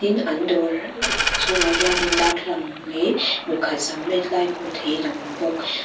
an dawr a chungah hian in darthlalang leh mipakhat sam met lai hmuh theihin a awm bawk.